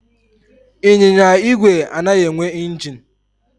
Ịnyịnya igwe anaghị enwe ingin.